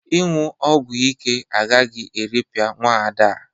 Ịñụ ogwo ike agaghị eripịa nwaada a.